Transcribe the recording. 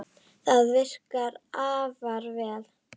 Það virðist virka afar vel.